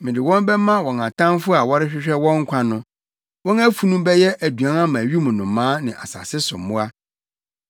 mede wɔn bɛma wɔn atamfo a wɔrehwehwɛ wɔn nkwa no. Wɔn afunu bɛyɛ aduan ama wim nnomaa ne asase so mmoa.